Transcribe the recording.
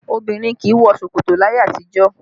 Obìnrin kì í wọ ṣòkòtò láyé àtijọ́